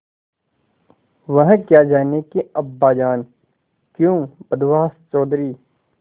वह क्या जानें कि अब्बाजान क्यों बदहवास चौधरी